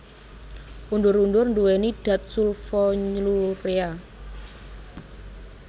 Undur undur nduwèni dat sulfonylurea